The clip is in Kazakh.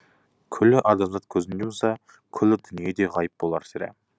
күллі адамзат көзін жұмса күллі дүние де ғайып болар сірә